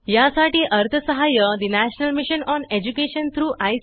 यासाठी अर्थसहाय्य national mission on education through I